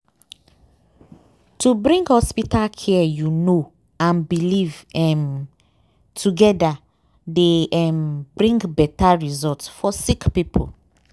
wait- to bring hospital care you know and belief um wait- togeda dey um bring beta result for sick poeple.